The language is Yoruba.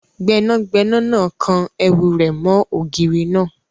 Gbẹ́nàgbẹ́nà náà kan ẹ̀wù rẹ̀ mọ́ ògiri náà